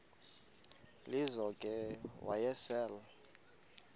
lizo ke wayesel